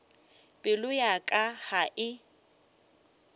pelo ya ka ga e